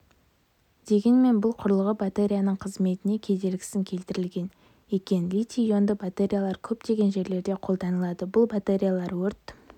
дегенмен бұл құрылғы батареяның қызметіне кедергісін келтірген екен литий-ионды батареялар көптеген жерлерде қолданылдаы бұл батареялар өрт